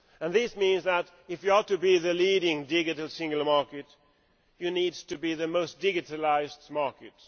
This means that if you are to be the leading digital single market, you need to be the most digitalised market.